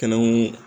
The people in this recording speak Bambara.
Kɛnɛw